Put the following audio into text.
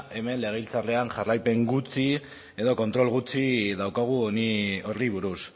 hemen legebiltzarrean jarraipen gutxi edo kontrol gutxi daukagu honi horri buruz